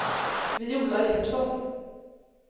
Viola Jeppsson